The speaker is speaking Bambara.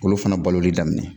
K'olu fana baloli daminɛ